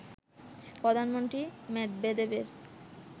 প্রধানমন্ত্রী মেদভেদেবের